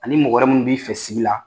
Ani mɔgɔ wɛrɛ minnu b'i fɛ sigi la,